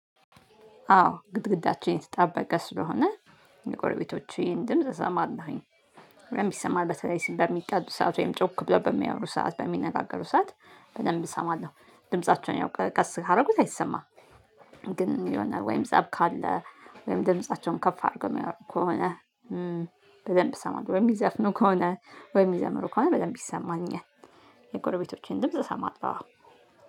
አዎ ግድግዳችን የተጣበቀ ስለሆነ የጎረቤቶቼን ድምጽ እሰማለሁኝ። በደንብ ይሰማል በተለይ ስንቀጥል ሰዓት ወይም ጮክ ብለው በሚያወሩ ሰዓት በሚነጋገሩ ሰዓት በደንብ እሰማለሁ ድምፃቸውን ያው ቀስ ካደረጉት አይሰማም። ግን የሆነ ወይም ፀብ ካለ ወይም ድምፃቸውን ከፍ አድርገው የሚያወሩ ከሆነ በደንብ እሰማለው ወይም የሚዘፍኑ ከሆነ ወይም የሚዘምሩ ከሆነ በደንብ ይሰማኛል። የጎረቤቶቼን ድምጽ እሰማለሁ አዎ።